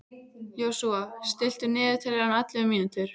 Joshua, stilltu niðurteljara á ellefu mínútur.